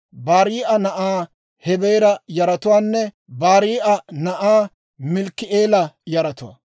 Barii'a na'aa Hebeera yaratuwaanne Barii'a na'aa Malkki'eela yaratuwaa.